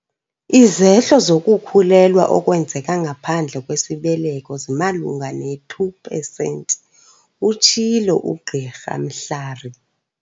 "Izehlo zokukhulelwa okwenzeka ngaphandle kwesibeleko zimalunga ne-2 pesenti," utshilo uGqr Mhlari.